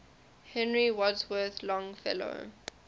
henry wadsworth longfellow